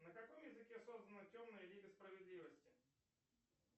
на каком языке создана темная лига справедливости